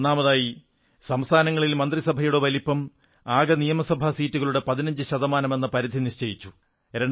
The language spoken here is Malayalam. ഒന്നാമതായി സംസ്ഥാനങ്ങളിൽ മന്ത്രിസഭകളുടെ വലിപ്പം ആകെ നിയമസഭാസീറ്റുകളുടെ 15 ശതമാനമെന്ന പരിധി നിശ്ചയിച്ചു